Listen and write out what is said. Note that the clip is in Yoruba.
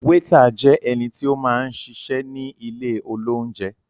Wétà jẹ ẹnití ó máa ń ṣiṣẹ ní ilé olounjẹ